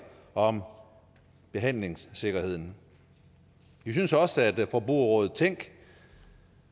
om behandlingssikkerheden vi synes også at forbrugerrådet tænk